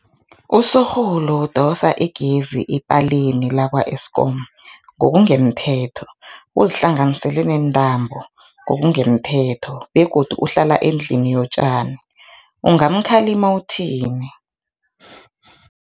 Usorhulu udosa egezini epaleni lakwa-Eskom ngokungemthetho, uzihlanganisele neentambo ngokungemthetho begodu uhlala endlini yotjani, ungamkhalima uthini?